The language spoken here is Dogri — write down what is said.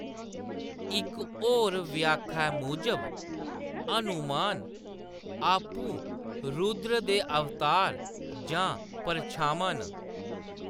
इक होर व्याख्या मूजब हनुमान आपूं रुद्र दे अवतार जां परछामां न।